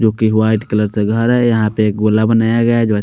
जो की white colour से घर है यहां पे एक गोल बनाया गया है जो है।